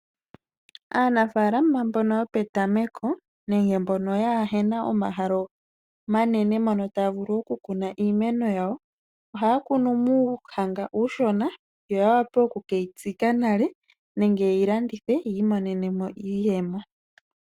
Aanafalama mbono yo petameko nenge mbono ya hena omahala omanene mo taya vulu okukuna iimeno yawo. Oha ya kunu muuhanga uushona yo ya wa pe okukeyi tsika nale nenge ye yilandithe yiimonene mo iiyemo.